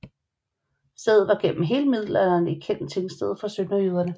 Stedet var gennem hele middelalderen et vigtigt tingsted for sønderjyderne